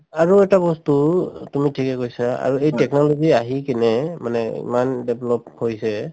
আৰু এটা বস্তু তুমি ঠিকে কৈছা আৰু এই technology আহি কিনে মানে ইমান develop হৈছে